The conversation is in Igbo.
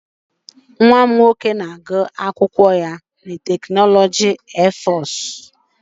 Nwa m nwoke na-agụ akwụkwọ na tekinọloji Airforce Institute.